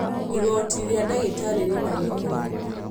Igoti rĩa ndagĩtarĩ rĩna gĩko